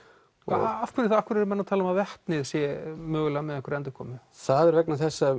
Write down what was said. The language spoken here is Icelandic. af hverju af hverju eru menn að tala um að vetnið sé mögulega með einhverja endurkomu það er vegna þess að